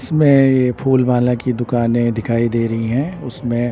इसमें ये फूल माला की दुकानें दिखाई दे रही हैं उसमें--